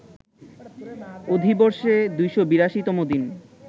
অধিবর্ষে ২৮২ তম দিন